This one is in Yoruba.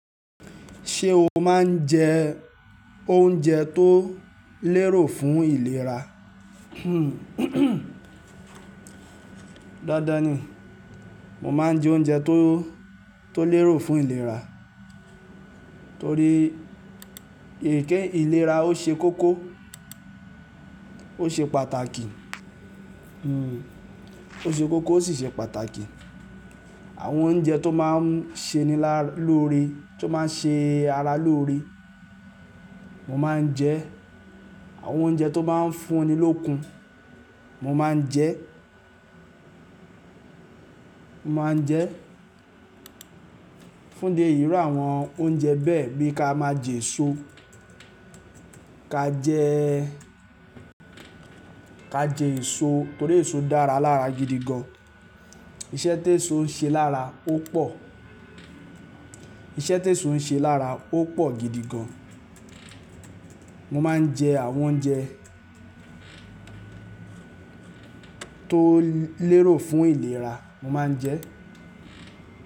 Ṣé o máa ń jẹ oúnjẹ tó lérò fún ìlera? Dáadáa ní, mo máa ń jẹ oúnjẹ tó, tó lérò fún ìlera, torí èké ìlera ó ṣe kókó, ó ṣe pàtàkì, hmm ó ṣe kókó ó sì ṣe pàtàkì. Àwọn oúnjẹ tó máa ń ṣe ní lá lóore, tó máa ń ṣe ara lóore mo máa ń jẹ, àwọn oúnjẹ tó máa ń fún ni lókun mo máa ń jẹ, mo máa ń jẹ. Fún ìdí eyi irú àwọn oúnjẹ bẹ́ẹ̀ bí ká máa jẹ èso, ká jẹ ẹ ká jẹ èso torí èso dára lára gidi gan. Iṣẹ́ tí èso ń ṣe lára ó pọ̀, iṣẹ́ tí èso ń ṣe lára ó pọ̀ gidi gan. Mo máa ń jẹ àwọn oúnjẹ tó lérò fún ìlera, mo máa ń jẹ.